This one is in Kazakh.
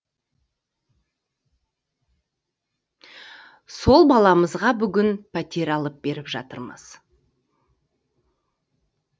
сол баламызға бүгін пәтер алып беріп жатырмыз